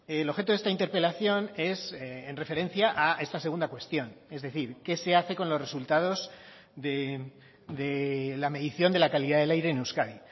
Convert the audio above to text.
el objeto de esta interpelación es en referencia a esta segunda cuestión es decir qué se hace con los resultados de la medición de la calidad del aire en euskadi